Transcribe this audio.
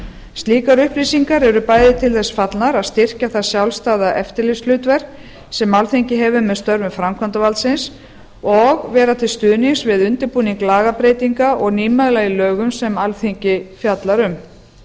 slíkar upplýsingar eru bæði til þess fallnar að styrkja það sjálfstæða eftirlitshlutverk sem alþingi hefur með störfum framkvæmdarvaldsins og vera til stuðnings við undirbúning lagabreytinga og nýmæla í lögum sem alþingi fjallar um